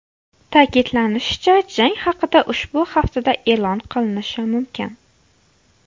Ta’kidlanishicha, jang haqida ushbu haftada e’lon qilinishi mumkin.